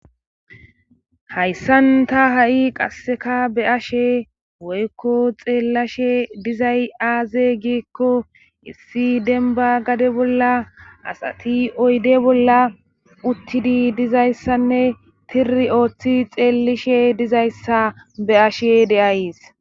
Hayssan ta ha7i qasseka be'ashe woykko xeellashe dizay aaze giekko issi denba gade bolla asati oyde bolla uttidi dizayssanne tiri ooththi xeelishe dizayssa be'ashe de'ays.